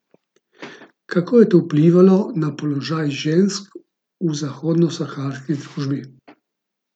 Kako je to vplivalo na položaj žensk v zahodnosaharski družbi?